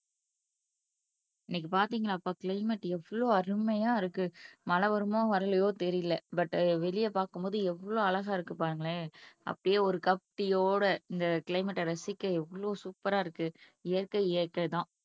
இன்னைக்கு பாத்தீங்களாப்பா கிளைமேட் எவ்ளோ அருமையா இருக்கு. மழை வருமோ வரலையோ தெரியலே பட் வெளியே பார்க்கும் போது எவ்வளவு அழகா இருக்கு பாருங்களேன் அப்படியே ஒரு இந்த கிளைமேட்டா ரசிக்க எவ்வளவு சூப்பரா இருக்கு இயற்கை இயற்கைதான்